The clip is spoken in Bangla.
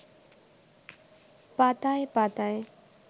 পাতায় পাতায়